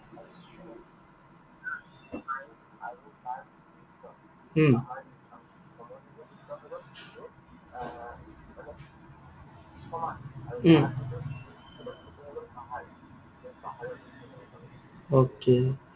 um um okay